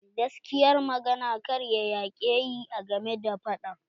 Gaskiyar magana karya yakeyi a game da fadan.